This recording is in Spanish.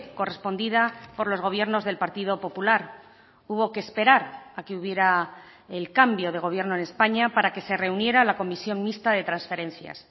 correspondida por los gobiernos del partido popular hubo que esperar a que hubiera el cambio de gobierno en españa para que se reuniera la comisión mixta de transferencias